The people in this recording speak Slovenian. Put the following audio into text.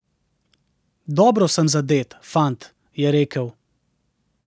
Dobro sem zadet, fant, je rekel.